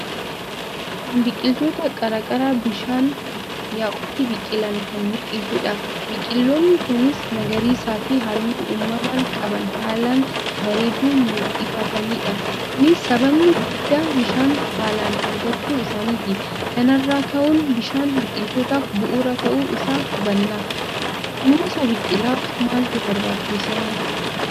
Kun biqiloota qarqara bishaan yaa'utti biqilan kan muldhisudha. Biqiloonni kunis magariisaf halluu uumaman qaban haalan bareedu muldhifatanidha. Kunis sababni guddaan bishaan haalan argachuu isaaniti. Kanarra kahuun bishaan biqilootaf bu'uura tahu isa hubanna. Kunuunsa biqilaaf maaltu barbachisa?